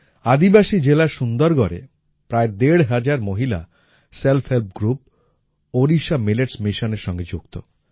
আদিবাসী জেলা সুন্দরগড়ে প্রায় দেড় হাজার মহিলা self help group Odisha millets Missionএর সঙ্গে যুক্ত